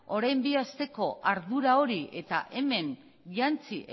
orain bi asteko ardura hori eta hemen jantzi